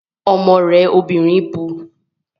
Ọmọ rẹ obìnrin bu